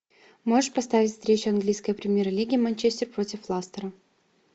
можешь поставить встречу английской премьер лиги манчестер против ластера